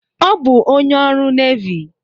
Ọ bụ onye ọrụ nevy.